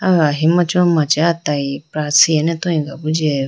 aya ahimachi ho machi ah tayi pra chiayine bi jiyayi bi.